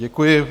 Děkuji.